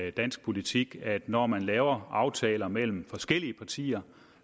i dansk politik at når man laver aftaler mellem forskellige partier